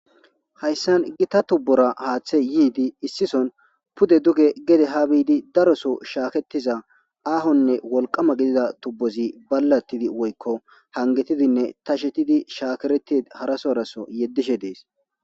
hayssan gi ta tubbora haaththe yiidi issison pude duge gede ha biidi daroso shaaketiza aahonne wolqama gidida tubbozi ballatidi woykko hangetidinne ta shetidi shaakereti harasoraso yeddishe dees